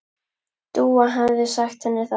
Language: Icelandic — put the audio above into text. Dúa hefði sagt henni það.